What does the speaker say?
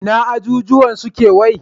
Ina ajujjuwan suke wai?